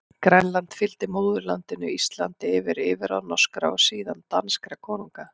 Grænland fylgdi móðurlandinu Íslandi undir yfirráð norskra, og síðan danskra konunga.